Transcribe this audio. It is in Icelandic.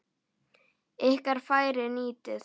Ykkar færi nýtið.